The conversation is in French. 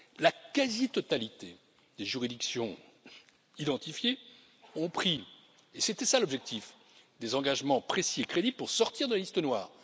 La quasi totalité des juridictions identifiées ont pris, et c'était là l'objectif, des engagements précis et crédibles pour sortir de la liste noire.